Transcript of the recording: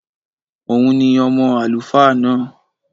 Òun ni ọmọ àlùfáà náà